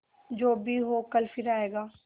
जो भी हो कल फिर आएगा